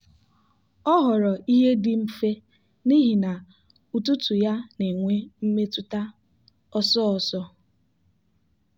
ọ họọrọ ihe dị mfe n'ihi na ụtụtụ ya na-enwe mmetụta ọsọ ọsọ.